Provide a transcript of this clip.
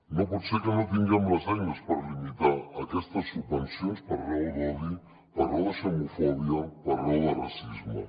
no pot ser que no tinguem les eines per limitar aquestes subvencions per raó d’odi per raó de xenofòbia per raó de racisme